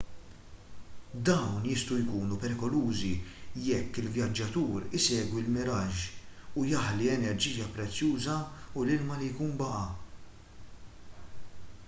dawn jistgħu jkunu perikolużi jekk il-vjaġġatur isegwi l-miraġġ u jaħli enerġija prezzjuża u l-ilma li jkun baqa'